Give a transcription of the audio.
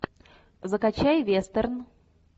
закачай вестерн